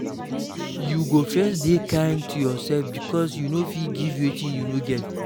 You go first de kind to yourself because you no fit give wetin you no get